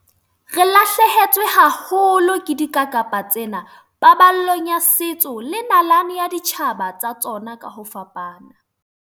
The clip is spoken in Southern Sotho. Re lahlehetswe haholo ke dikakapa tsena paballong ya setso le nalane ya ditjhaba tsa tsona ka ho fapana.